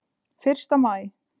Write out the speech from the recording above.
Fyrsta maí.